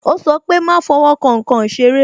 Ó sọ pé "má fowo kan nkan ìṣeré"